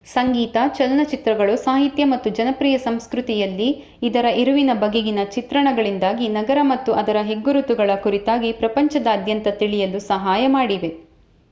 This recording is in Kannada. ಸಂಗೀತ ಚಲನಚಿತ್ರಗಳು ಸಾಹಿತ್ಯ ಮತ್ತು ಜನಪ್ರಿಯ ಸಂಸ್ಕೃತಿಯಲ್ಲಿ ಇದರ ಇರುವಿನ ಬಗೆಗಿನ ಚಿತ್ರಣಗಳಿಂದಾಗಿ ನಗರ ಮತ್ತು ಅದರ ಹೆಗ್ಗುರುತುಗಳ ಕುರಿತಾಗಿ ಪ್ರಪಂಚದಾತ್ಯಂತ ತಿಳಿಯಲು ಸಹಾಯ ಮಾಡಿದೆ